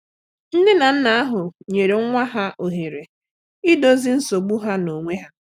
Nne na nna ahụ nyere nwa ha ohere idọzi nsogbụ ha n'onwe ha.